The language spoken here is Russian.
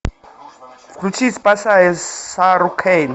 включи спасая сару кейн